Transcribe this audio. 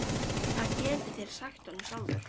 THEODÓRA: Það getið þér sagt honum sjálfur.